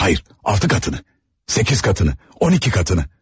Xeyr, altı qatını, səkkiz qatını, 12 qatını.